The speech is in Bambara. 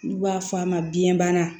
N'u b'a f'a ma biyɛnbana